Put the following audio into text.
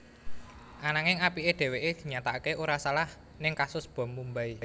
Ananging apiké dheweké dinyatakaké ora salah ning kasus bom Mumbai